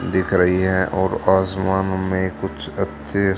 दिख रहीं हैं और आसमान में कुछ अच्छे--